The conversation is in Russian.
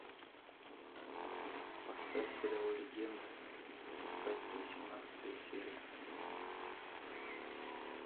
поставь сериал легенда об искателе восемнадцатая серия